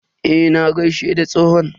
Eh, na gaishe da tsohon.